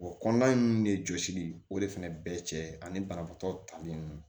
O kɔnɔna ninnu de jɔsili o de fana bɛɛ cɛ ani banabaatɔ tali ninnu